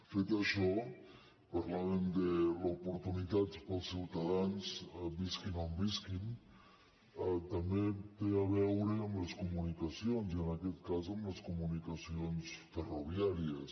fet això parlàvem que l’oportunitat per als ciutadans visquin on visquin també té a veure amb les comunicacions i en aquest cas amb les comunicacions ferroviàries